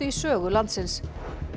í sögu landsins